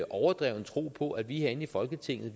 overdreven tro på at vi herinde i folketinget